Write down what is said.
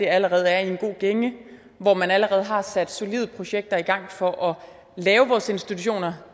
allerede er i en god gænge og hvor man allerede har sat solide projekter i gang for at lave vores institutioner